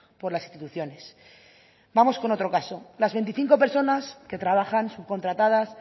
por las instituciones vamos con otro caso las veinticinco personas que trabajan subcontratadas